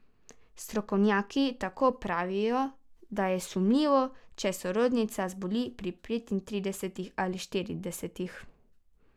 Strokovnjaki tako pravijo, da je sumljivo, če sorodnica zboli pri petintridesetih ali štiridesetih.